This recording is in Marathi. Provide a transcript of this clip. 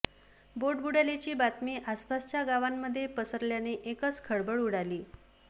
बोट बुडाल्याची बातमी आसपासच्या गावांमध्ये पसरल्याने एकच खळबळ उडाली